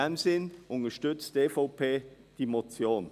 In diesem Sinn unterstützt die EVP diese Motion.